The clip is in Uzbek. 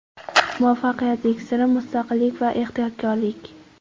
Muvaffaqiyat siri: Mustaqillik va ehtiyotkorlik.